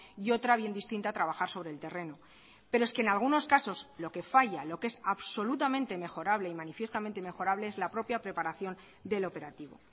y otra bien distinta trabajar sobre el terreno pero es que en algunos casos lo que falla lo que es absolutamente mejorable y manifiestamente mejorable es la propia preparación del operativo